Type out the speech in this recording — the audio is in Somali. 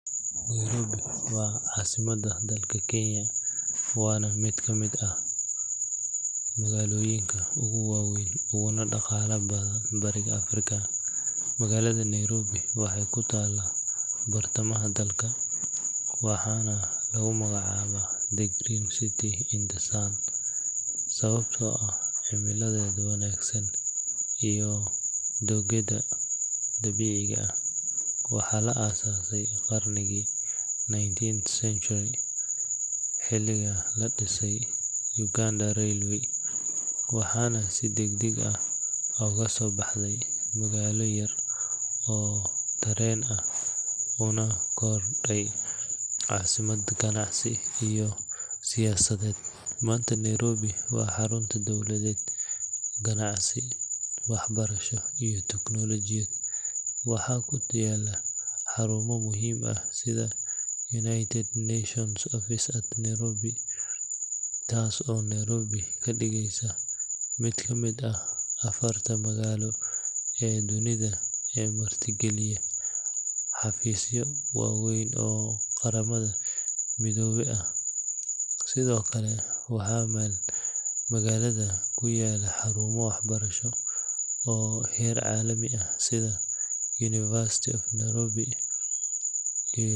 Nairobi waa caasimadda dalka Kenya, waana mid ka mid ah magaalooyinka ugu waaweyn uguna dhaqaalaha badan Bariga Afrika. Magaalada Nairobi waxay ku taallaa bartamaha dalka, waxaana lagu magacaabaa “The Green City in the Sun” sababtoo ah cimiladeeda wanaagsan iyo dooggeeda dabiiciga ah. Waxaa la aasaasay qarnigii nineteenth century xiliga la dhisayey Uganda Railway, waxaana si degdeg ah uga soo baxday magaalo yar oo tareen ah una korodhay caasimad ganacsi iyo siyaasadeed. Maanta, Nairobi waa xarunta dowladeed, ganacsi, waxbarasho iyo teknoolajiyad. Waxaa ku yaalla xarumo muhiim ah sida United Nations Office at Nairobi UNON, taas oo Nairobi ka dhigaysa mid ka mid ah afarta magaalo ee dunida ee martigeliya xafiisyo waaweyn oo Qaramada Midoobay ah. Sidoo kale waxaa magaalada ku yaalla xarumo waxbarasho oo heer caalami ah sida University of Nairobi.